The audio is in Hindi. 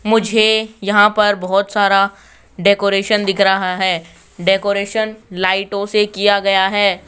मुझे यहां पर बहुत सारा डेकोरेशन दिख रहा है डेकोरेशन लाइटों से किया गया है।